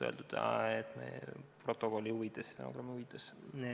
Olgu see öeldud stenogrammi huvides.